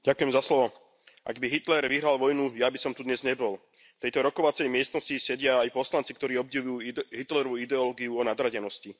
Vážený pán predsedajúci, ak by Hitler vyhral vojnu, ja by som tu dnes nebol. V tejto rokovacej miestnosti sedia aj poslanci, ktorí obdivujú Hitlerovu ideológiu o nadradenosti.